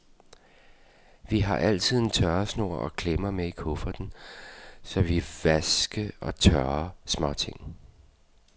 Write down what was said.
Vi har altid en tørresnor og klemmer med i kufferten, så vi vaske og tørre småting.